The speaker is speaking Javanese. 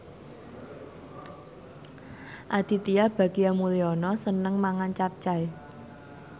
Aditya Bagja Mulyana seneng mangan capcay